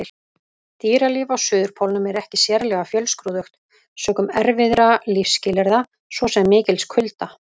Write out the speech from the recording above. Dýralíf á Suðurpólnum er ekki sérlega fjölskrúðugt sökum erfiðra lífsskilyrða, svo sem mikils kulda.